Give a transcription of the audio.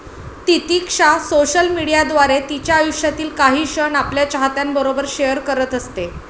तितिक्षा social मीडियाद्वारे तिच्या आयुष्यातील काही क्षण आपल्या चाहत्यांबरोबर शेअर करत असते.